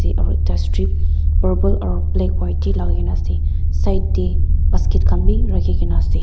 aro ekta strip purple aro black white tey lagaikena ase side tey basket khan wi rakhikena ase.